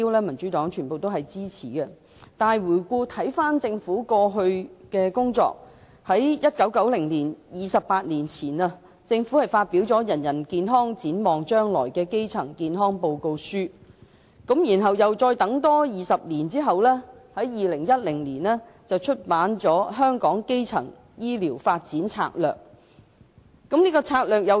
民主黨支持這些大目標，但回顧政府過去的工作，政府在28年前的1990年發表有關基層健康的《人人健康，展望將來》報告書，而在20年後的2010年，政府再發表《香港的基層醫療發展策略文件》。